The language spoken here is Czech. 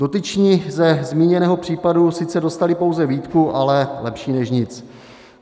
Dotyční ze zmíněného případu sice dostali pouze výtku, ale lepší než nic.